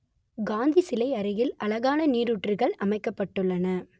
காந்தி சிலை அருகில் அழகான நீரூற்றுகள் அமைக்கப்பட்டுள்ளன